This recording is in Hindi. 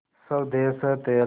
स्वदेस है तेरा